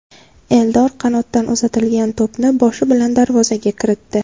Eldor qanotdan uzatilgan to‘pni boshi bilan darvozaga kiritdi.